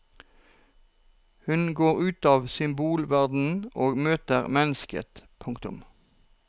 Hun går ut av symbolverdenen og møter mennesket. punktum